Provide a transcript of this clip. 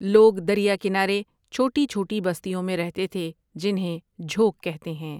لوگ دریا کنارے چھوٹی چھوٹی بستیوں میں رہتے تھے جنہیں جھوک کہتے ہیں